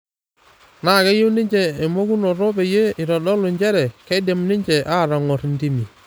Na keyieu ninje emokunoto peyie itodolu njere keidim ninje atong'or intiimi